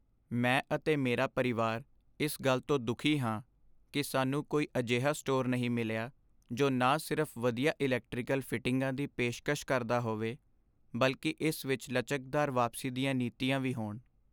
ਮੈਂ ਅਤੇ ਮੇਰਾ ਪਰਿਵਾਰ ਇਸ ਗੱਲ ਤੋਂ ਦੁੱਖੀ ਹਾਂ ਕਿ ਸਾਨੂੰ ਕੋਈ ਅਜਿਹਾ ਸਟੋਰ ਨਹੀਂ ਮਿਲਿਆ ਜੋ ਨਾ ਸਿਰਫ਼ ਵਧੀਆ ਇਲੈਕਟ੍ਰੀਕਲ ਫਿਟਿੰਗਾਂ ਦੀ ਪੇਸ਼ਕਸ਼ ਕਰਦਾ ਹੋਵੇ ਬਲਕਿ ਇਸ ਵਿੱਚ ਲਚਕਦਾਰ ਵਾਪਸੀ ਦੀਆਂ ਨੀਤੀਆਂ ਵੀ ਹੋਣ।